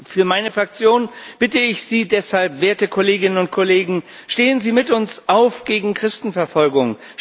Für meine Fraktion bitte ich Sie deshalb, werte Kolleginnen und Kollegen Stehen Sie mit uns auf gegen Christenverfolgung!